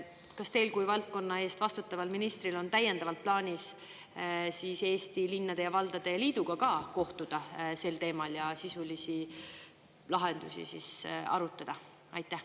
Kas teil kui valdkonna eest vastutaval ministril on täiendavalt plaanis Eesti Linnade ja Valdade Liiduga ka kohtuda sel teemal ja sisulisi lahendusi arutada?